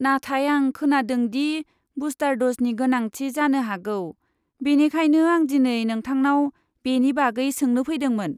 नाथाय आं खोनादों दि बुस्टार द'जनि गोनांथि जानो हागौ, बेनिखायनो आं दिनै नोंथांनाव बेनि बागै सोंनो फैदोंमोन।